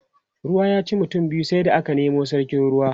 ruwa ya ci mutum biyu sai da aka Nemo sarkin ruwa